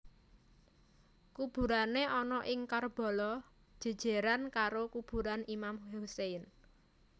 Kuburané ana ing Karbala jèjèran karo kuburan Imam Hussein